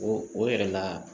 O o yɛrɛ la